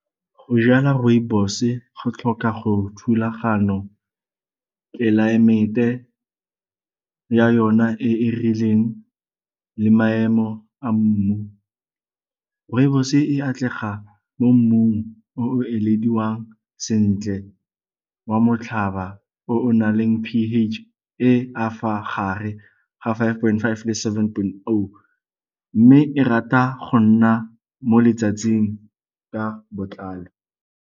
Go jala rooibos-e go tlhoka go thulagano, tlelaemete ya yona e e rileng le maemo a mmu. Rooibos-e e atlega mo mmung o o elediwang sentle wa motlhaba o na leng p_H e e ka fa gare ga five point five le seven point oh mme e rata go nna mo letsatsing ka botlalo.